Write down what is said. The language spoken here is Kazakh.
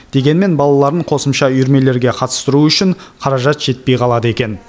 дегенмен балаларын қосымша үйірмелерге қатыстыру үшін қаражат жетпей қалады екен